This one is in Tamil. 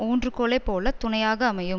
ஊன்று கோலை போல துணையாக அமையும்